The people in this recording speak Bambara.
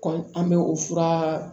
Kɔmi an bɛ o fura